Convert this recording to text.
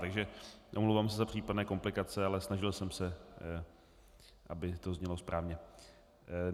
Takže omlouvám se za případné komplikace, ale snažil jsem se, aby to znělo správně.